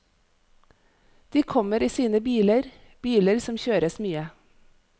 De kommer i sine biler, biler som kjøres mye.